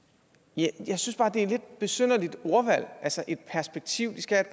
jeg synes bare det er et lidt besynderligt ordvalg altså et perspektiv de skal have